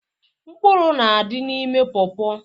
Mkpụrụ na-adị n'ime pọọpọ.